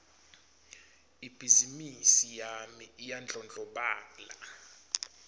ibhizimisi yami iyandlondlobala